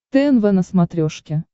тнв на смотрешке